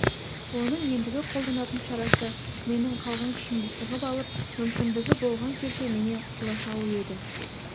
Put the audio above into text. оның ендігі қолданатын шарасы менің қалған күшімді сығып алып мүмкіндігі болған жерде менен құтыла салу еді